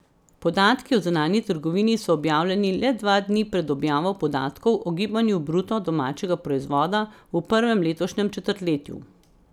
Podatki o zunanji trgovini so objavljeni le dva dni pred objavo podatkov o gibanju bruto domačega proizvoda v prvem letošnjem četrtletju.